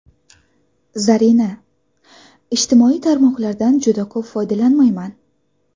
Zarina: Ijtimoiy tarmoqlardan juda ko‘p foydalanmayman.